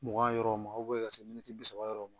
Mugan yɔrɔw ma ka se miniti bi saba yɔrɔ ma